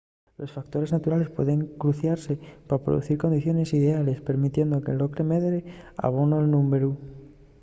los factores naturales pueden cruciase pa producir condiciones ideales permitiendo que l’ocle medre abondo en númberu